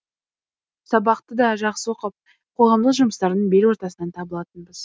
сабақты да жақсы оқып қоғамдық жұмыстардың бел ортасынан табылатынбыз